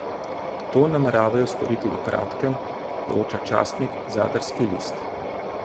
To nameravajo storiti v kratkem, poroča časnik Zadarski list.